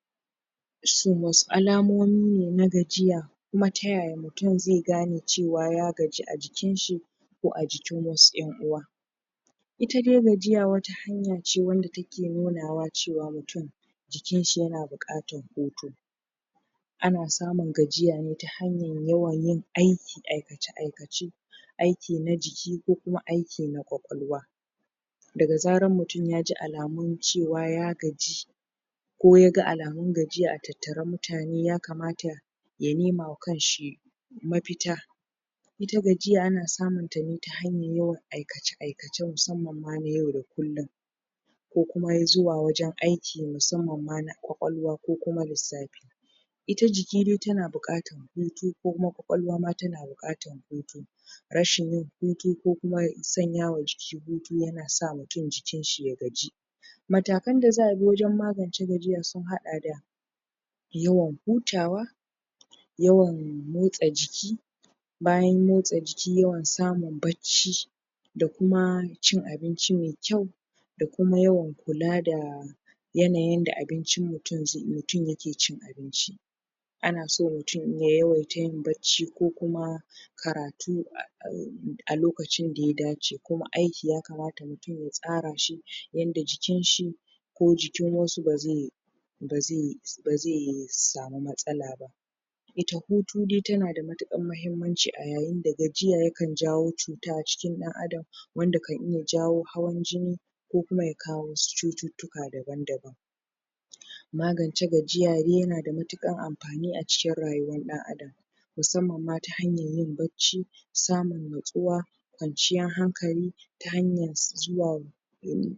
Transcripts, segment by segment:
Wannan hoto Da kuke gani, Yana nuna wani Kifi da Aka kama daga ruwa Kifi yana da Laushi da kuma Ruwa, ruwa A jikin sa Wanda ke, Nuna cewa ana samun Kuma ana Dauke Ana dauke shi daga wani Yanki mai cike da Ruwa Ko tapki A bayansa ana iya Hango ruwa da Wasu mutane da suke Yin Farauta ko Kamun Kifi Wata kila suna amfani Da hanya da tafi dacewa Kamar Tarko Ko hannu Wanda zai iya kamo Kifin Wannan irin Kifi ana iya samun Sa a, A koguna Yanki Ko kuma, Gonakin Kamun Kifi Kuma yana da Matukar Amfani da daraja A wurin mutane Sa'anan kuma yana ta daraja A abinci da kuma kasuwancin sa Hakan nada fa'ida Wurin kiwon Kifi Kuma shi kifi yana da matukar amfani Ga mutane ga al'umma Zaka iya kiwata shi za kuma ka iya sayarwa za kuma ka iya ci A takaice wannan hoton yana bayani ne akan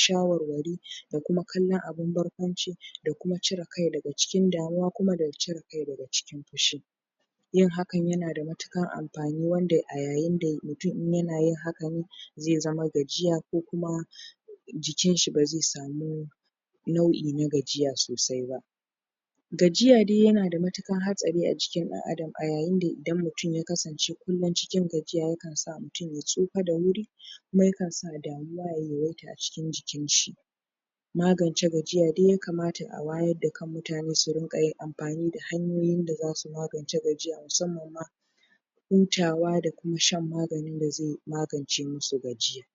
kifi Wanda aka kama